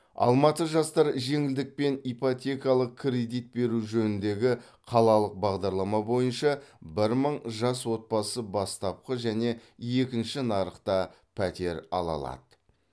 алматы жастары жеңілдікпен ипотекалық кредит беру жөніндегі қалалық бағдарлама бойынша бір мың жас отбасы бастапқы және екінші нарықта пәтер ала алады